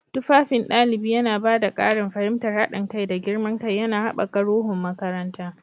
Tufafin ɗalibi yana ba da ƙarin fahimtar haɗin kai da girman kai, yana haɓaka ruhun makaranta.